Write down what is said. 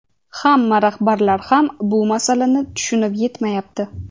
hamma rahbarlar ham bu masalalarni tushunib yetmayapti.